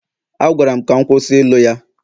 A gwara m ka m kwụsị ịlụ ya